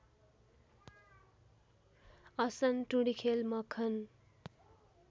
असन टुँडिखेल मखन